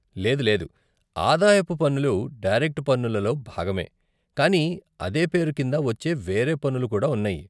లేదు లేదు, ఆదాయపు పన్నులు డైరెక్ట్ పన్నులలో భాగమే, కానీ అదే పేరు కింద వచ్చే వేరే పన్నులు కూడా ఉన్నాయి.